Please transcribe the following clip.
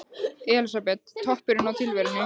Elísabet: Toppurinn á tilverunni?